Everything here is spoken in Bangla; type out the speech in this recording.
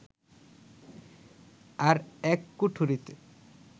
আর এক কুঠরিতে